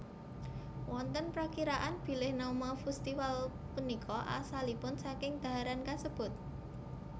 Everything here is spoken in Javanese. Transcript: Wonten prakiraan bilih nama festival punika asalipun saking dhaharan kasebut